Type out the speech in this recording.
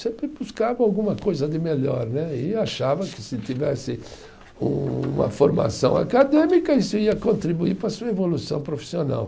Sempre buscava alguma coisa de melhor né, e achava que se tivesse uma formação acadêmica isso ia contribuir para a sua evolução profissional.